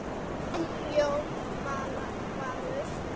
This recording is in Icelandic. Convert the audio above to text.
Þinn Jón Valur.